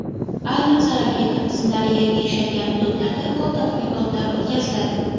Ayniqsa, raketa qismlari yerga tushadigan hududlarda ko‘p tadqiqotlar o‘tkaziladi.